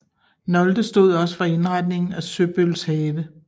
Nolde stod også for indretningen af Søbøls have